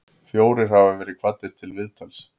Fjórir hafa verið kvaddir til viðtals